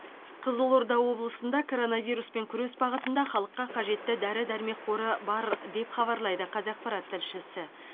қызылорда облысында коронавируспен күрес бағытында халыққа қажетті дәрі дәрмек қоры бар деп хабарлайды қазақпарат тілшісі